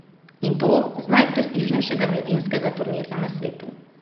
In to z najprestižnejšega mladinskega turnirja na svetu!